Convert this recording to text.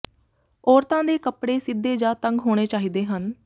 ਔਰਤਾਂ ਦੇ ਕੱਪੜੇ ਸਿੱਧੇ ਜਾਂ ਤੰਗ ਹੋਣੇ ਚਾਹੀਦੇ ਹਨ